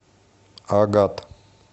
агат